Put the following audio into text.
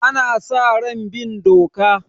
Ana sa ran bin doka.